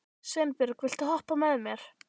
Sveinbjörg, viltu hoppa með mér?